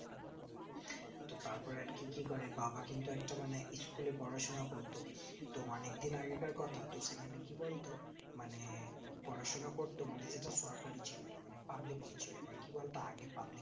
তো তার পরে একদিন কি করে বাবা কিন্তু একটা মানে school এ পড়াশোনা করতো তো অনিক দিন আগে কার কথা তো সেখানে কি বলতো পড়াশোনা করতো সেটা সরকারি ছিল না public ই ছিল but কি বলতো আগে public